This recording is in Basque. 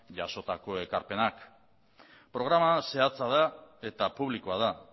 jasotako ekarpenak programa zehatza da eta publikoa da